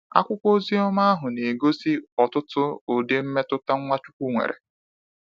Akwụkwọ oziọma ahụ na egosi ọtụtụ ụdị mmetụta Nwachukwu nwere.